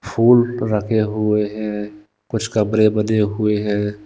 फूल रखे हुए हैं कुछ कमरे बने हुए हैं।